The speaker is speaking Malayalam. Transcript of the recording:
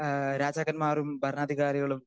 സ്പീക്കർ 2 അഹ് രാജാക്കന്മാരും ഭരണാധികാരികളും